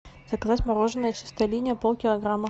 заказать мороженое чистая линия полкилограмма